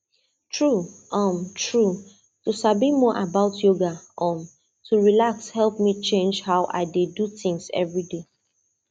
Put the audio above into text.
true um true to sabi more about yoga um to relax help me change how i dey do things every day